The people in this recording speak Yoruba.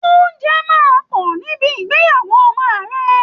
Ounjẹ máa pọ̀ níbi ìgbéyàwó ọmọ ààrẹ